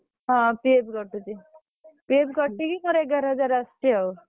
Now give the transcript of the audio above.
ହଁ PF କଟୁଛି PF କଟିକି ମୋର ଏଗାର ହଜାର ଆସୁଛି ଆଉ।